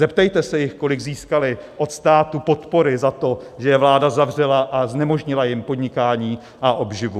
Zeptejte se jich, kolik získali od státu podpory za to, že je vláda zavřela a znemožnila jim podnikání a obživu.